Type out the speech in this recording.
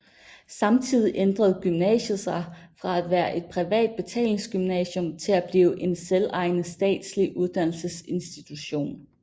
Samtidig ændrede gymnasiet sig fra at være et privat betalingsgymnasium til at blive en selvejende statslig uddannelsesinstitution